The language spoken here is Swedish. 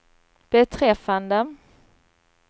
beträffande